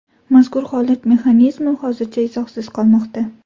Mazkur holat mexanizmi hozircha izohsiz qolmoqda.